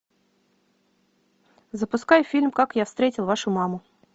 запускай фильм как я встретил вашу маму